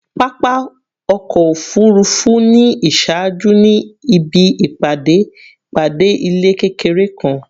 Papa ọkọ ofurufu ni iṣaaju ni ibi ipade ipade ilẹ kekere kan